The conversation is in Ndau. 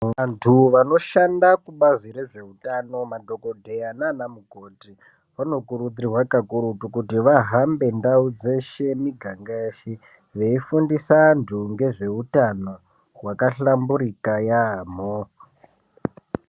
Vantu vanoshanda kubazi rezvehutano madhokodheya nana mukoti vanokurudzirwa kakurutu kuti vahambe ndau dzeshe mumiganga yeshe veifundisa vantu nezvehutano wakahlamburika yambo.